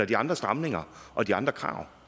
de andre stramninger og de andre krav